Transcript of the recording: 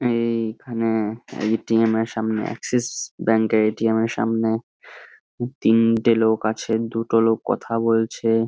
এই- খানে এই এ .টি. এম সামনে আক্সিস ব্যাংকের এ .টি .এম এর সামনে তিনটে লোক আছে দুটো লোক কথা বলছে--